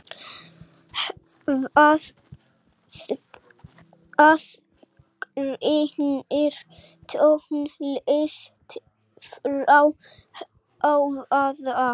Hvað aðgreinir tónlist frá hávaða?